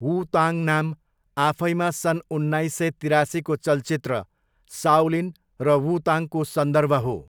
वु ताङ नाम आफैमा सन् उन्नाइस सय तिरासीको चलचित्र साओलिन र वु ताङको सन्दर्भ हो।